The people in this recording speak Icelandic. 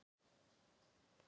Þormóður kvað þá vísu